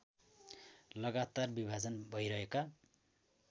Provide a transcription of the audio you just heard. लगातार विभाजन भएरहेका